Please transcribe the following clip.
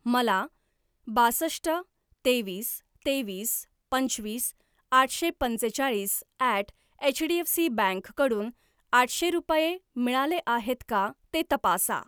मला बासष्ट तेवीस तेवीस पंचवीस आठशे पंचेचाळीस ॲट एचडीएफसी बँक कडून आठशे रुपये मिळाले आहेत का ते तपासा.